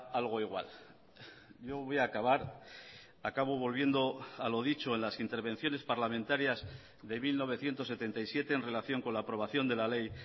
algo igual yo voy a acabar acabo volviendo a lo dicho en las intervenciones parlamentarias de mil novecientos setenta y siete en relación con la aprobación de la ley